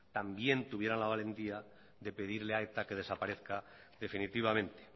también tuvieran la valentía de pedirle a eta que desaparezca definitivamente